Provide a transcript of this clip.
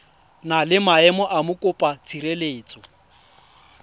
na le maemo a mokopatshireletso